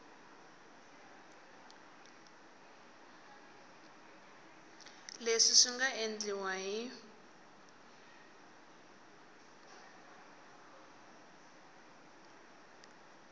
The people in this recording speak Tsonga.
leswi swi nga endliwa hi